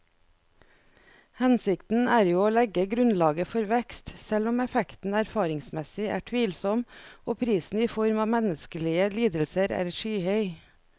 Hensikten er jo å legge grunnlaget for vekst, selv om effekten erfaringsmessig er tvilsom og prisen i form av menneskelige lidelser er skyhøy.